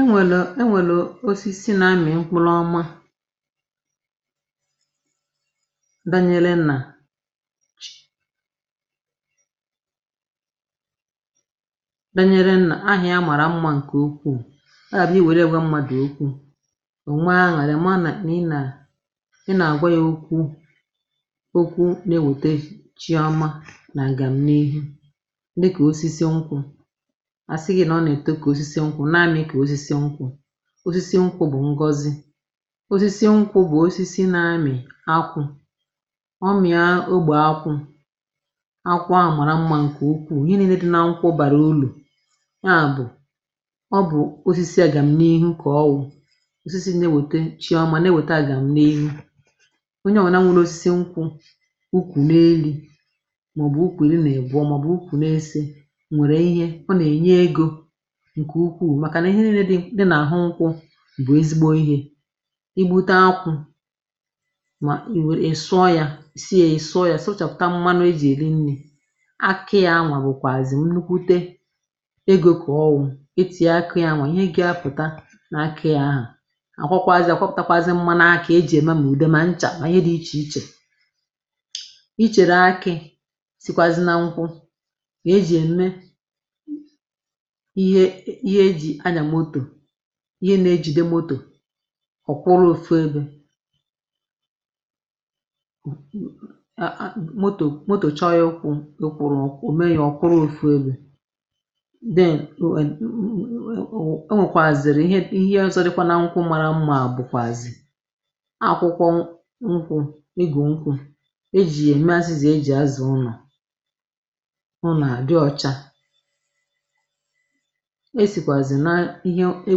E nwèlù enwèlù osisi nà amị̀ mkpụlụ ọma danyele nà chi danyele nà ahị̇a màrà mmȧ ǹkè ukwuù, ọ gabụ̀ i were ya gwȧ mmadù okwu ò nwee aṅụrị̀ ị màra nà ị nà ị nà-àgwa yȧ okwu̇ okwu na-ewète chiọma nà àgàmn’ihu dịka osisi nkwụ̇, a sị na ọneto kosisi nkwụ nà-amị kà osisi nkwụ̇ osisi nkwụ̇ bụ̀ ngọzi osisi nkwụ̇ bụ̀ osisi na-amị̀ akwụ̇ ọ mị̀a ogbè akwụ̇ akwụ̇ ahụ̀ màra mmȧ ǹkè ukwuù, ihe niine di nȧ-nkwụ̇ bàrà ulu ya bụ̀ ọ bụ̀ osisi à gàm̀n’ihù kà ọ wụ̀, osisi na-ewète chi ọma, na-ewète à gàm̀ n’irù. Onye ọ̀wna nwẹ̀rẹ osisi nkwụ̇ ukwù n’eli̇ màọ̀bụ̀ ukwù irịnịbụọ màọ̀bụ̀ ukwù n’ese, nwẹ̀rẹ ihẹ. Ọ nà-ènye egȯ ǹkè ukwuù màkà nà ihe niine dị nà àhụ nkwụ bụ̀ ezigbo ihė. I gbute akwụ̇ mà ị̀ were sụọ ya ị sụọ ya sụchapụ̀ta mmanu e jì èri nni̇. Akị ya anwa bụ̀kwàzì nnukwute egȯ kà ọ wụ̀. E tìe akị ya anwa ihe gaa pụ̀ta nà akị ya ahụ à kwakwazịa a kwapụ̀takwazị mmȧnakị e jì ème mà ùde mà nchà mà ihe dị̇ ichè ichè ichèrè akị̇ sikwàzi nȧ nkwụ̇ mà e jì ème ihe e ji anya moto ihe na-ejìde motò ọ̀kwụrụ ofu ebe. [hhahah] motò moto chọọ ịkwụrụ o mee ya ọ kwụrụ̇ ofu ebe then [ụụụ] o nwèkwàzìrị ihe ihe ọzọ̇ dịkwa na nkwụ mara mma bụkwazi akwụkwọ nkwụ̇, igù nkwụ̇.E e jì ya ème azịza e jì azà ụnọ̀ ụnọ̀ à dị ọcha. E sikwazi nihe e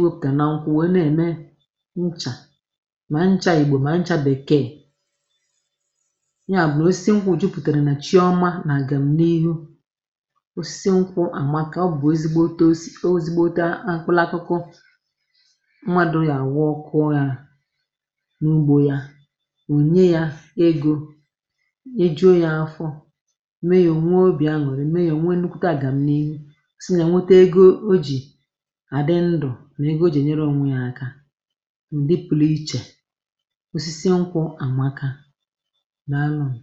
wepụtara na nkwụ wèe nà ème nchà ma ncha Igbò ma ncha bèkeè nya bụ̀ nà osisi nkwụ jupùtèrè nà chi ọma nà àgàm n’ihu. Osisi nkwụ àmaka ọ bụ̀ ezigboto ozigbota akpụlakụkụ mmadụ̇ yà àwụ ọkụọ ya n’ugbȯ ya ònye ya egȯ nyejuo ya afọ mee yȧ ònwe obì aṅụ̀rị mee yȧ ònwe nnukwu̇tė àgàmn’ihu si na ya nwete ego oji adị ndụ na ego o ji enyere onwe ya aka. Ndị pụlụ ichè osisi nkwụ àmaka daalụnụ.